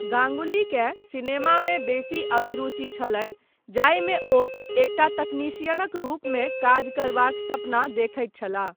गाङ्गुलीकेँ सिनेमामे बेसी अभिरूचि छलनि जाहिमे ओ एकटा तकनीशियनक रूपमे काज करबाक सपना देखैत छलाह।